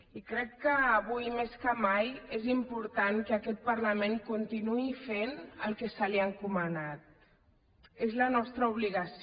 i crec que avui més que mai és important que aquest parlament continuï fent el que se li ha encomanat és la nostra obligació